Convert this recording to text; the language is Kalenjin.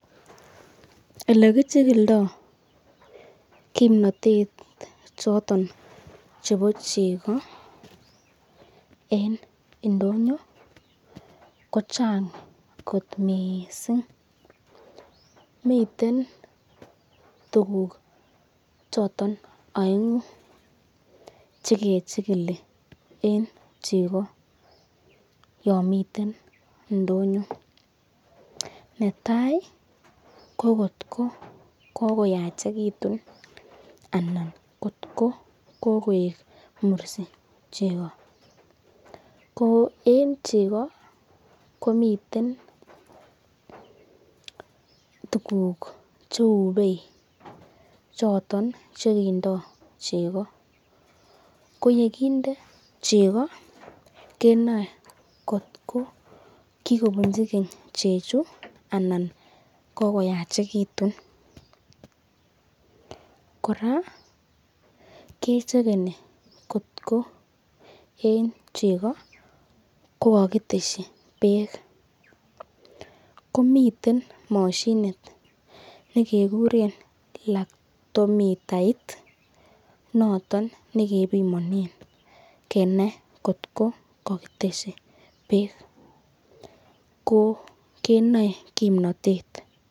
Elikichigildo kimnatet choton chebo cheko, eng indonyo ko Chang kot missing , miten tukuk choton aengu chekechili eng cheko yon miten ndonyo netai ko kotko kokoyachekitun anan kotko kokoek mursi cheko, ko eng cheko komiten tukuk che bei choton chekindo cheko, ko yekainde cheko kenae kotko kikobinchi keny chechu anan kokoyachekitun, koraa kechekeeni kotkoeng cheko kokakitesyi bek, komiten mashinit nekikuren lactomitait noton nekepimanen kenai kotko kakitesyi bek ko kenae kimnatet.